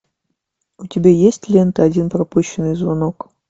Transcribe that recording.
у тебя есть лента один пропущенный звонок